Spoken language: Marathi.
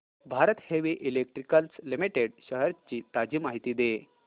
Bharat heavy electricals limited shares ची ताजी माहिती दे